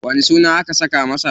Wani suna aka saka masa?